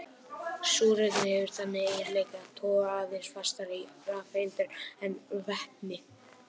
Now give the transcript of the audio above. Súrefni hefur þann eiginleika að toga aðeins fastar í rafeindir en vetni.